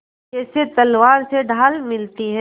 जैसे तलवार से ढाल मिलती है